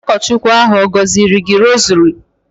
Ụkọchukwu ahụ ọ̀ gọziri gị rosary?